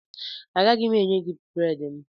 Agaghị m enye gị bredị a